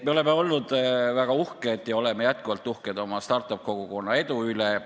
Me oleme olnud väga uhked ja oleme jätkuvalt uhked oma start-up-kogukonna edu üle.